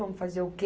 Vamos fazer o quê?